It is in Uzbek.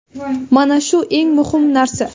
Mana shu eng muhim narsa.